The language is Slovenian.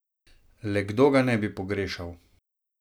Le kdo ga ne bi pogrešal?